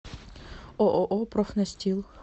ооо профнастил